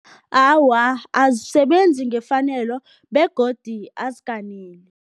Awa, azisebenzi ngefanelo begodu azikaneli.